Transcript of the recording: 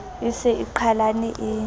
e se e qhalane e